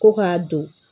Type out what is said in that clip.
Ko k'a don